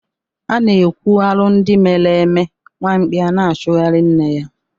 A na-ekwu arụ ndi mere eme nwa mkpi a na-achụgharị nne ya.